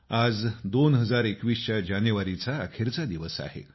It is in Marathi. आज 2021 च्या जानेवारीचा अखेरचा दिवस आहे